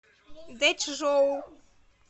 дэчжоу